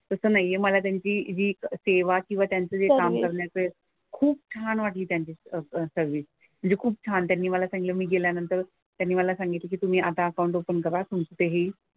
तसं नाही आहे. मला त्यांची हि सेवा किंवा त्यांचं जे काम करण्याचं आहे खूप छान वाटलं त्यांची सर्विस. म्हणजे खूप छान. त्यांनी मला सांगितलं मी गेल्यानंतर त्यांनी मला सांगितलं की तुम्ही आता अकाउंट ओपन करा तुमचेही.